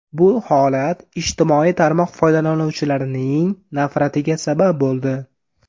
Bu holat ijtimoiy tarmoq foydalanuvchilarining nafratiga sabab bo‘ldi.